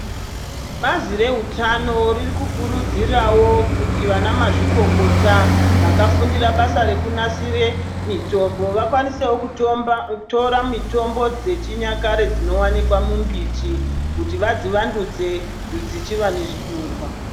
Bazi rehutano riri kukurudzirawo kuti vanamazvikokota vakafundira basa rekunasire mitombo vakwanisewo kutomba tora mitombo dzechinyakare dzinowanikwa mumbiti, kuti vadzivandudze dzichiva nezvinyorwa.